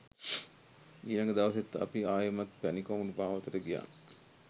ඊලඟ දවසෙත් අපි ආයෙමත් පැණි කොමඩු මාවතට ගියා